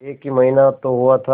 एक ही महीना तो हुआ था